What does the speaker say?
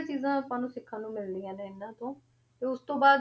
ਚੀਜ਼ਾਂ ਆਪਾਂ ਨੂੰ ਸਿੱਖਣ ਨੂੰ ਮਿਲਦੀਆਂ ਨੇ ਇਹਨਾਂ ਤੋਂ, ਤੇ ਉਸ ਤੋਂ ਬਾਅਦ